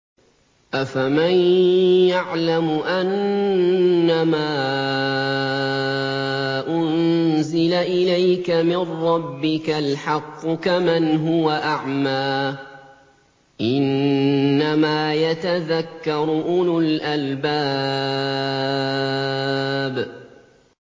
۞ أَفَمَن يَعْلَمُ أَنَّمَا أُنزِلَ إِلَيْكَ مِن رَّبِّكَ الْحَقُّ كَمَنْ هُوَ أَعْمَىٰ ۚ إِنَّمَا يَتَذَكَّرُ أُولُو الْأَلْبَابِ